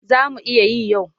Za mu iya yi yau.